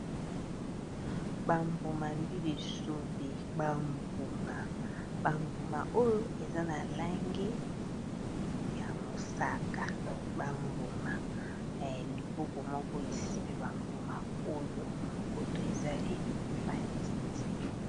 Bambuma mbila esobe bambuma bambuma oyo eza na lange ya mosaka bambuma ya liboko moko esime bambuma oyo koto ezaleli matiti